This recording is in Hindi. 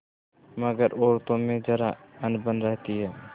मगर औरतों में जरा अनबन रहती है